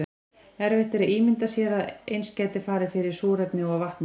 erfitt er að ímynda sér að eins gæti farið fyrir súrefni og vatni